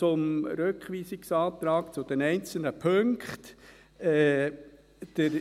Ich komme zu den einzelnen Punkten des Rückweisungsantrags.